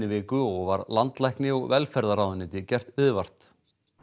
viku og var landlækni og velferðarráðuneyti gert viðvart